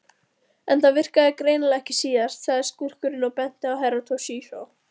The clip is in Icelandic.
En það virkaði greinilega ekki síðast, sagði skúrkurinn og benti á Herra Toshizo.